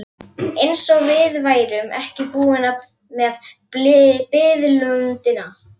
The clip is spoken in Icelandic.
Eins og við værum ekki búin með biðlundina.